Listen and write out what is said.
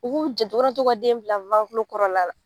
U b'u janto, u ka na to ka den bila kɔrɔ la la.